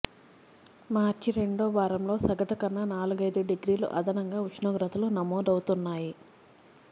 మార్చి రెండో వారంలో సగటు కన్నా నాలుగైదు డిగ్రీలు అదనంగా ఉష్ణోగ్రతలు నమోదవుతున్నాయి